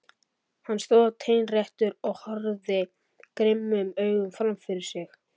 Hann stóð teinréttur og horfði grimmum augum fram fyrir sig.